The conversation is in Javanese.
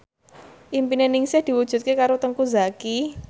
impine Ningsih diwujudke karo Teuku Zacky